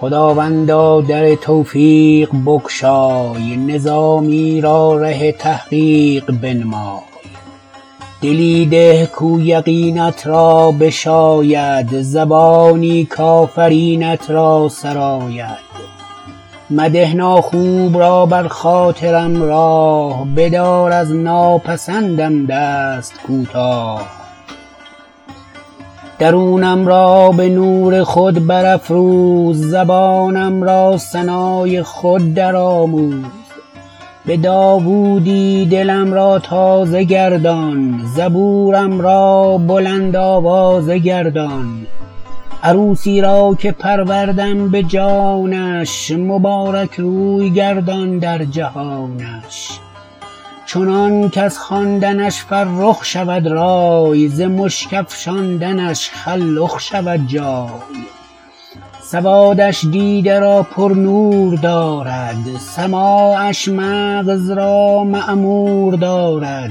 خداوندا در توفیق بگشای نظامی را ره تحقیق بنمای دلی ده کاو یقینت را بشاید زبانی کآفرینت را سراید مده ناخوب را بر خاطر م راه بدار از ناپسند م دست کوتاه درونم را به نور خود برافروز زبانم را ثنا ی خود درآموز به داوود ی دلم را تازه گردان زبور م را بلند آوازه گردان عروسی را که پروردم به جانش مبارک روی گردان در جهانش چنان کز خواندنش فرخ شود رای ز مشک افشاندنش خلخ شود جای سواد ش دیده را پرنور دارد سماعش مغز را معمور دارد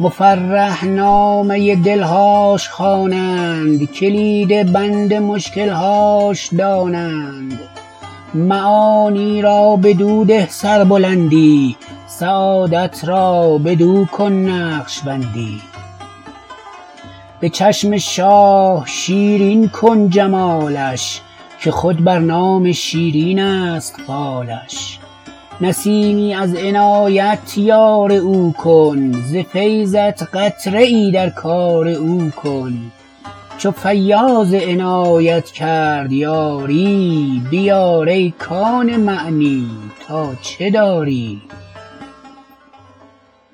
مفرح نامه دلهاش خوانند کلید بند مشکل هاش دانند معانی را بدو ده سربلندی سعادت را بدو کن نقش بندی به چشم شاه شیرین کن جمالش که خود بر نام شیرین است فالش نسیمی از عنایت یار او کن ز فیضت قطره ای در کار او کن چو فیاض عنایت کرد یاری بیار ای کان معنی تا چه داری